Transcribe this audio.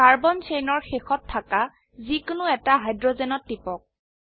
carbon চেইনৰ শেষত থাকা যি কোনো এটা হাইড্ৰোজেনত টিপক